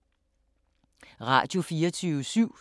Radio24syv